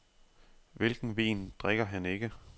Hvilken vin drikker han ikke?